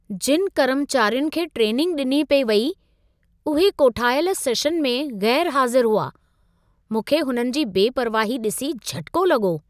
जिनि कर्मचारियुनि खे ट्रेनिंग ॾिनी पिए वेई, उहे कोठायल सेशन में ग़ैरु हाज़िरु हुआ। मूंखे हुननि जी बेपरवाही ॾिसी झटिको लॻो।